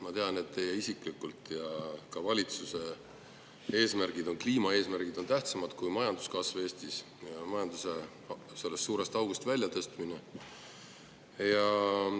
Ma tean, et teie isiklikud ja ka valitsuse eesmärgid ning kliimaeesmärgid on tähtsamad kui majanduskasv Eestis ja majanduse suurest august välja aitamine.